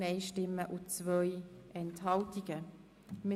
Wir kommen nun zu Ziffer